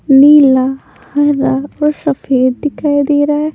नीला हरा और सफेद दिखाई दे रहा है।